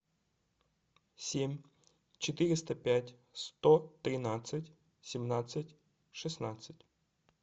семь четыреста пять сто тринадцать семнадцать шестнадцать